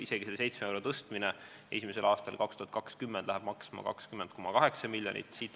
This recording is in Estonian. Isegi see 7 euro võrra tõstmine esimesel aastal, 2020, läheb maksma 20,8 miljonit.